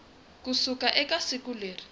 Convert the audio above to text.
ku suka eka siku leri